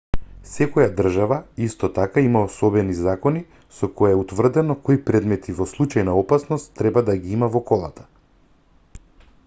секоја држава исто така има особени закони со кои е утврдено кои предмети во случај на опасност треба да ги има во колата